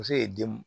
Muso ye den